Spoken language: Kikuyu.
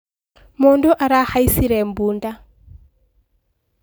Mũndũ arahaicire bunda